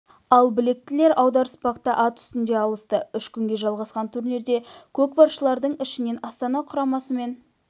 ал білектілер аударыспақта ат үстінде алысты үш күнге жалғасқан турнирде көкпаршылардың ішінен астана құрамасы мен